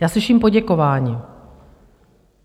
Já slyším poděkování.